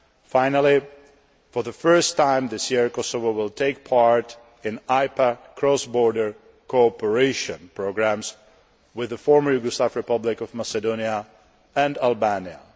Finally, for the first time this year, Kosovo will take part in IPA Cross Border Cooperation programmes with the former Yugoslav Republic of Macedonia and Albania.